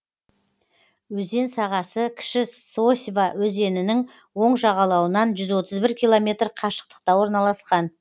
өзен сағасы кіші сосьва өзенінің оң жағалауынан жүз отыз бір километр қашықтықта орналасқан